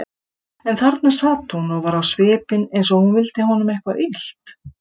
En þarna sat hún og var á svipinn eins og hún vildi honum eitthvað illt.